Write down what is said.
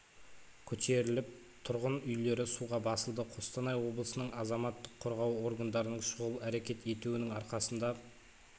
көтеріліп тұрғын үйлері суға басылды қостанай облысының азаматтық қорғау органдарының шұғыл әрекет етуінің арқасында